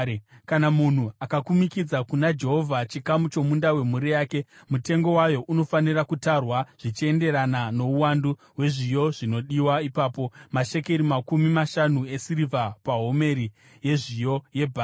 “ ‘Kana munhu akakumikidza kuna Jehovha chikamu chomunda wemhuri yake, mutengo wawo unofanira kutarwa zvichienderana nouwandu hwezviyo zvinodiwa ipapo, mashekeri makumi mashanu esirivha pahomeri yezviyo yebhari.